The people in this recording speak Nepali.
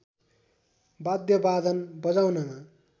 वाद्यवादन बजाउनमा